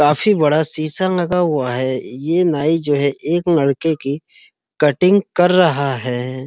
काफी बड़ा शीशा लगा हुआ है। ये नाइ जो है एक लड़के की कट्टिंग कर रहा है।